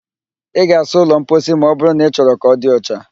Ị ga-asa ụlọ mposi ma ọbụrụ na ị chọrọ ka ọ di ọcha